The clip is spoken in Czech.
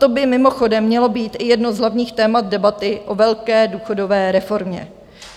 To by mimochodem mělo být i jedno z hlavních témat debaty o velké důchodové reformě.